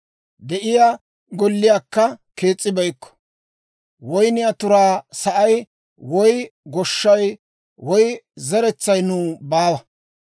de'iyaa golliyaakka kees's'ibeykko; woyniyaa turaa sa'ay, woy goshshay, woy zeretsaykka nuw baawa.